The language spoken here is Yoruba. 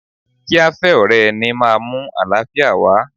Kí a fẹ́ ọ̀rẹ́ ara ẹni máa mú àlàáfíà wá.